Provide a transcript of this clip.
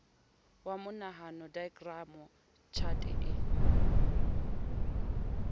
wa monahano daekramo tjhate e